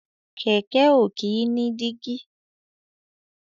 Kẹ̀kẹ́ ò kìí ní dígí.